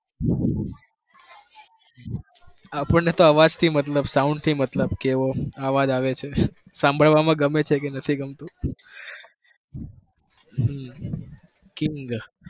આપણને તો અવાજથી મતલબ sound થી મતલબ કેવો અવાજ આવે છે સાંભળવામાં ગમે છે કે નથી ગમતું હમ કિંગ